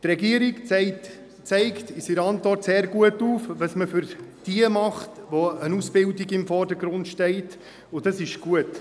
Die Regierung zeigt in ihrer Antwort sehr gut auf, was man für jene tut, für welche eine Ausbildung im Vordergrund steht, und dies ist gut.